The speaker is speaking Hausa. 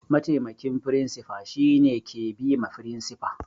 Mataimakin firinsifa shine ke bima firinsifa